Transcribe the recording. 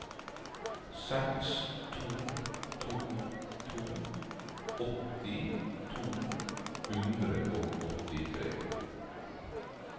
seks to to to åtti to hundre og åttitre